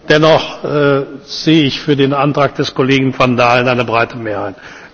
Dennoch sehe ich für den Antrag des Kollegen van Dalen eine breite Mehrheit.